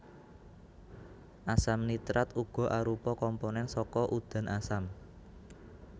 Asam nitrat uga arupa komponen saka udan asam